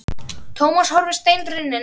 Thomas horfði steinrunninn á hana.